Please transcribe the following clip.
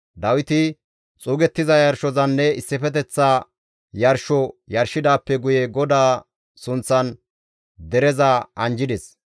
Dawiti xuugettiza yarshozanne issifeteththa yarsho yarshidaappe guye GODAA sunththan dereza anjjides.